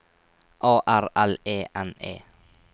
A R L E N E